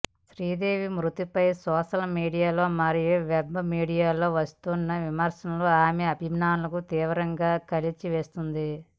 శ్రీదేవి మృతిపై సోషల్ మీడియాలో మరియు వెబ్ మీడియాలో వస్తున్న విమర్శలు ఆమె అభిమానులను తీవ్రంగా కలిచి వేస్తోంది